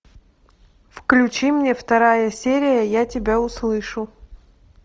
включи мне вторая серия я тебя услышу